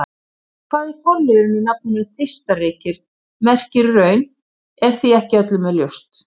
En hvað forliðurinn í nafninu Þeistareykir merkir í raun er því ekki með öllu ljóst.